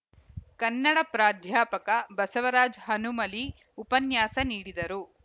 ಕನ್ನಡ ಪ್ರಾಧ್ಯಾಪಕ ಬಸವರಾಜ್‌ ಹನುಮಲಿ ಉಪನ್ಯಾಸ ನೀಡಿದರು